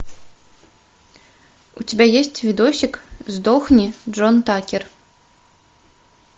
у тебя есть видосик сдохни джон такер